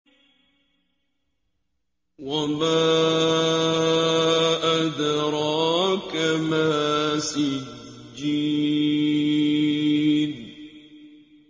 وَمَا أَدْرَاكَ مَا سِجِّينٌ